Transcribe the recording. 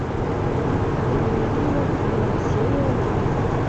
дневники вампира серия один